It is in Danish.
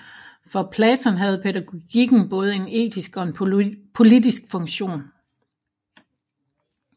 For Platon havde pædagogikken både en etisk og en politisk funktion